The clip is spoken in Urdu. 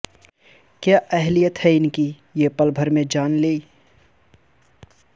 کیا اہلیت ہے ان کی یہ پل بھر میں جان لی